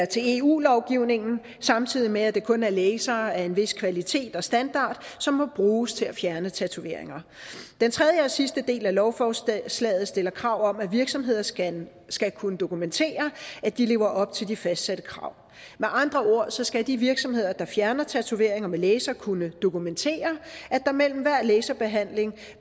til eu lovgivningen samtidig med at det kun er lasere af en vis kvalitet og standard som må bruges til at fjerne tatoveringer den tredje og sidste del af lovforslaget stiller krav om at virksomheder skal skal kunne dokumentere at de lever op til de fastsatte krav med andre ord skal de virksomheder der fjerner tatoveringer med laser kunne dokumentere at der mellem hver laserbehandling